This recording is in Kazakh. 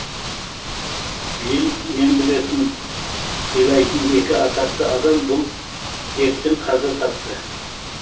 биыл мен білетін сыйлайтын екі атақты адам бұл дерттен қаза тапты